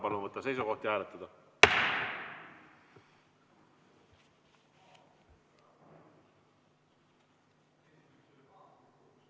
Palun võtta seisukoht ja hääletada!